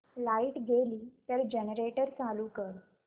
light गेली तर generator चालू कर